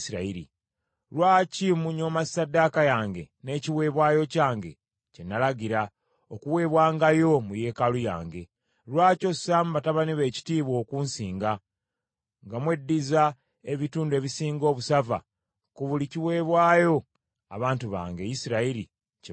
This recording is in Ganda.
Lwaki munyooma ssaddaaka yange n’ekiweebwayo kyange bye nalagira, okuweebwangayo mu yeekaalu yange? Lwaki ossaamu batabani bo ekitiibwa okunsinga, nga mweddiza ebitundu ebisinga obusava ku buli kiweebwayo abantu bange, Isirayiri, kye bawaayo?’